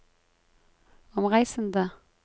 omreisende